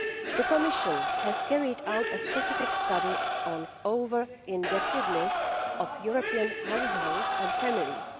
The Commission has carried out a specific study on over indebtedness of European households and families.